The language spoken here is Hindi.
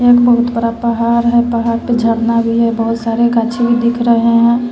यहां एक बहुत बड़ा पहाड़ है पहाड़ पे झरना भी है बहुत सारे गाछे भी दिख रहे हैं।